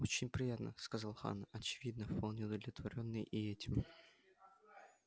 очень приятно сказал хан очевидно вполне удовлетворённый и этим